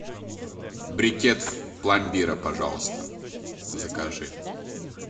брикет пломбира пожалуйста закажи